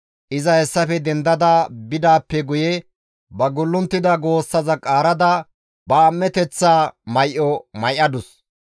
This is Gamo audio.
Iza hessafe dendada bidaappe guye ba gullunttida goossaza qaarada ba am7eteththa may7o may7adus.